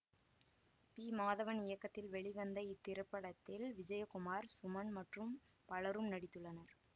B Madhavan இயக்கத்தில் வெளிவந்த இத்திரைப்படத்தில் விஜயகுமார் சுமன் மற்றும் பலரும் நடித்துள்ளனர்